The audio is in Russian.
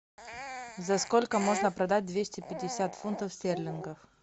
за сколько можно продать двести пятьдесят фунтов стерлингов